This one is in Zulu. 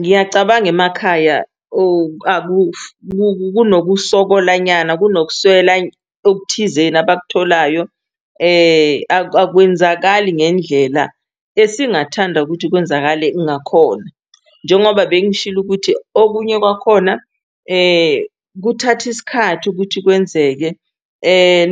Ngiyacabanga emakhaya kunokusokola nyana kunokuswela okuthizeni abakutholayo akwenzakali ngendlela esingathanda ukuthi kwenzakale ngakhona. Njengoba bengishilo ukuthi okunye kwakhona kuthatha isikhathi ukuthi kwenzeke